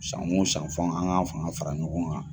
San o san fo an k'an ka fanga fara ɲɔgɔn kan.